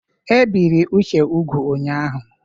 E biri Uche ụgwụ́ ụnyahụ.